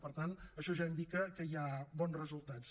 per tant això ja indica que hi ha bons resultats